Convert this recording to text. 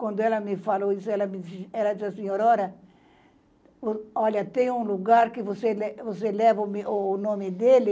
Quando ela me falou isso, ela me disse, ela disse assim, Aurora, olha, tem um lugar que você que você leva o nome dele